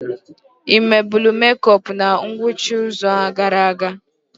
O mebulu mekop na ngwụcha izuụka gara aga.